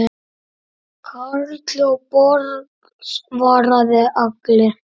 Karl hjá Borg svaraði Agli.